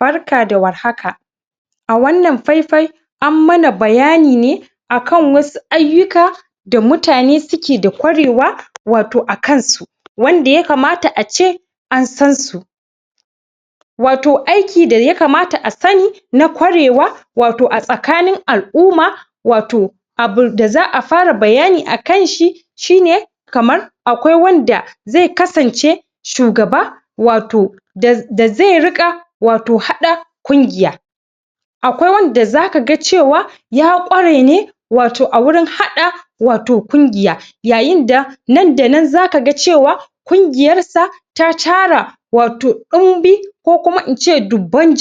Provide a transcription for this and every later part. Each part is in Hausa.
Barka da warhaka a wannan faifai ammana bayanine akan wasu aiyuka da mutane suke da ƙwarewa wato akansu wanda yakamata ace an sansu wato aiki da yakamata asani na ƙwarewa wato a tsakanin al'umma wato abun da za a fara bayani akanshi shine kamar akwai wanda ze kasance shugaba wato da ze riƙa wato haɗa ƙungiya akwai wanda zakaga cewa ya kwarene wato agurin haɗa wato ƙungiya yayinda nan da nan zakaga cewa ƙungiyar sa ta tara wato ɗimbi ko kuma ince dubban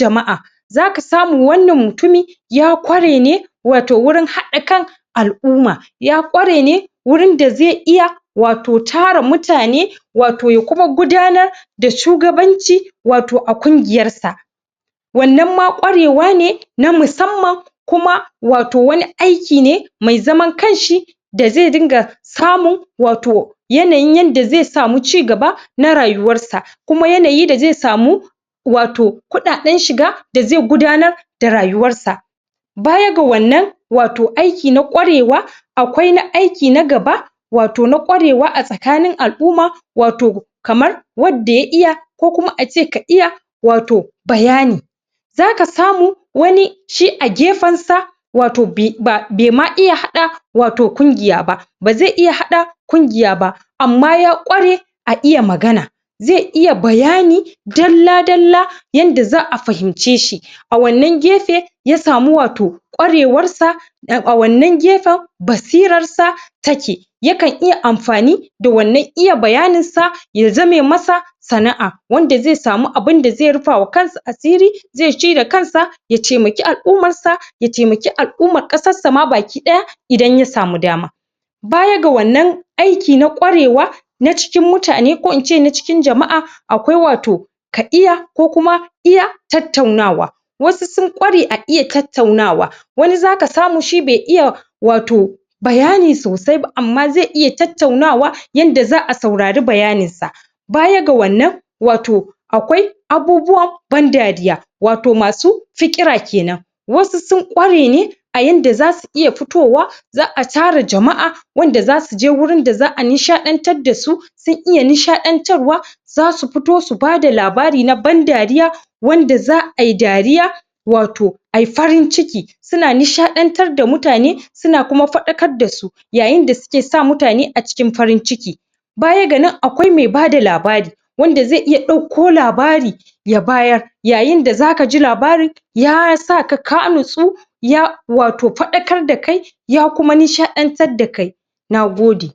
zaka samu wannan mutumi ya ƙwarene wato gurin haɗa kan al'umma ya ƙwarene wurin da ze iya wato tara mutane wato ya kuma gudanar da shugabanci wato a ƙungiyarsa wannan ma ƙwarewane na musamman kuma wato wani aiki ne mai zaman kanshi da ze diga samun wato ynayin yanda ze samu cigaba na rayuwar sa kuma yanayi da ze samu wato kuɗa ɗan shiga da ze gudanar da rayuwarsa baya ga wannan wato aiki na ƙwarewa akwai na aiki na gaba wato na ƙwarewa a tsakanin al'umma wato kamar wadda ya iya ko kuma ace ka iya wato bayani zaka samu wani shi a gefansa wato be ma iya haɗa wato ƙungiyaba ba ze iya haɗa ƙungiyaba amma ya ƙware a iya magana ze iya bayani dalla dalla yanda za a fahimce shi a wannan gefe ya samu wato ƙwarewar sa a wannan gefan basirassa take yakan iya amfani da wannan iya bayaninsa ya zame masa sana a wanda ze samu abin da ze rufama kansa asiri ze ci da kansa ya temaki al'ummassa ya temaki al'ummar kasar sama baki ɗaya idan yasamu dama baya ga wannan aiki na ƙwarewa na cikin mutane ko ince na cikin jama'a akwai wato ka iya ko kuma iya tautaunawa wasu sun gware a iya tautaunawa wani zaka samu shi be iya wato bayani sausai amma ze iya tautau nawa yanda za a saurari bayaninsa baya ga wannan wato akwai abubuwan ban dariya wato masu fiƙira kenan wasu sun ƙwarenw a yanda zasu iya fitowa za a tara jama'a wanda zasuje gurin da za a nishaɗan tar dasu sun iya nishaɗan tarwa zasu fito su bada labari na ban dariya wanda za ai dariya wato ai farin ciki suna nishɗantar da mutane suna kuma faɗa kar dasu yayin dasuke sa mutane acikin farin ciki baya ga nan akwai me bada labari wanda ze iya ɗauko labari ya bayar yayin da zakaji labarin yasaka ka natsu ya wato faɗakar da kai ya kuma nishaɗan tar da kai nagode